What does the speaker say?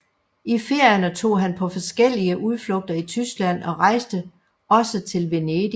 I ferierne tog han på forskellige udflugter i Tyskland og rejste også til Venedig